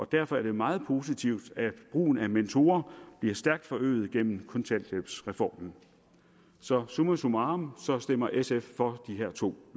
derfor er det meget positivt at brugen af mentorer bliver stærkt forøget gennem en kontanthjælpsreformen så summa summarum stemmer sf for de her to